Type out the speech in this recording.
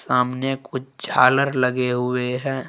सामने कुछ झालर लगे हुए हैं।